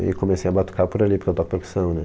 E comecei a batucar por ali, porque eu toco percussão, né?